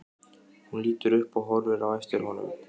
Hún lítur upp og horfir á eftir honum.